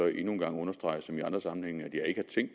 en gang understrege som i andre sammenhænge